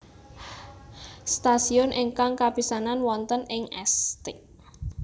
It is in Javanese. Stasiun ingkang kapisanan wonten ing St